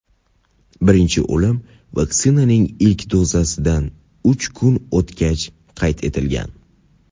birinchi o‘lim vaksinaning ilk dozasidan uch kun o‘tgach qayd etilgan.